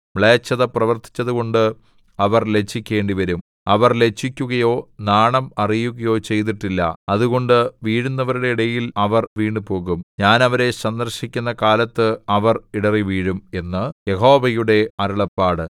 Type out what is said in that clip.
മ്ലേച്ഛത പ്രവർത്തിച്ചതുകൊണ്ട് അവർ ലജ്ജിക്കേണ്ടിവരും അവർ ലജ്ജിക്കുകയോ നാണം അറിയുകയോ ചെയ്തിട്ടില്ല അതുകൊണ്ട് വീഴുന്നവരുടെ ഇടയിൽ അവർ വീണുപോകും ഞാൻ അവരെ സന്ദർശിക്കുന്ന കാലത്ത് അവർ ഇടറിവീഴും എന്ന് യഹോവയുടെ അരുളപ്പാട്